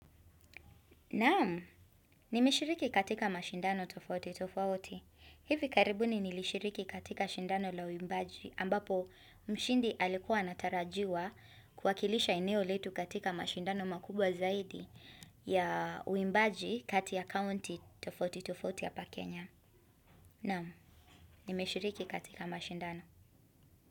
Naam, nimeshiriki katika mashindano tofauti tofauti. Hivi karibu ni nilishiriki katika shindano la uimbaji ambapo mshindi alikuwa anatarajiwa kuwakilisha eneo letu katika mashindano makubwa zaidi ya uimbaji kati kaunti tofauti tofauti hapa Kenya. Naamu, ni mishiriki katika mashindano.